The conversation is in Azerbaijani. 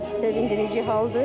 Sevindirici haldır.